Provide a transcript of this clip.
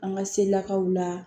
An ka se lakaw la